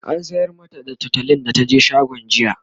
an sayar mata da tutolin da taje shagon jiya